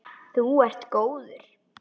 Þú ert góður!